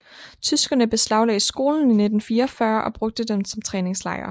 Tyskerne beslaglagde skolen i 1944 og brugte den som træningslejr